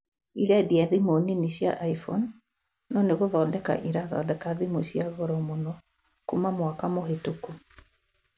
ĩrendia thimu nini cia iphone, no nĩgũthondeka ĩrathodeka thimũ cia goro mũno kuma mwaka mũhĩtũku